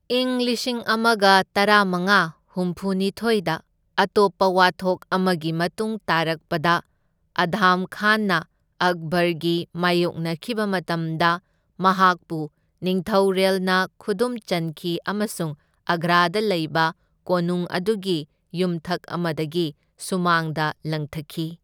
ꯏꯪ ꯂꯤꯁꯤꯡ ꯑꯃꯒ ꯇꯔꯥꯃꯉꯥ ꯍꯨꯝꯐꯨꯅꯤꯊꯣꯢꯗ ꯑꯇꯣꯞꯄ ꯋꯥꯊꯣꯛ ꯑꯃꯒꯤ ꯃꯇꯨꯡ ꯇꯥꯔꯛꯄꯗ ꯑꯙꯝ ꯈꯥꯟꯅ ꯑꯛꯕꯔꯒ ꯃꯥꯢꯌꯣꯛꯅꯈꯤꯕ ꯃꯇꯝꯗ, ꯃꯍꯥꯛꯄꯨ ꯅꯤꯡꯊꯧꯔꯦꯜꯅ ꯈꯨꯗꯨꯝ ꯆꯟꯈꯤ ꯑꯃꯁꯨꯡ ꯑꯒ꯭ꯔꯥꯗ ꯂꯩꯕ ꯀꯣꯅꯨꯡ ꯑꯗꯨꯒꯤ ꯌꯨꯝꯊꯛ ꯑꯃꯗꯒꯤ ꯁꯨꯃꯥꯡꯗ ꯂꯪꯊꯈꯤ꯫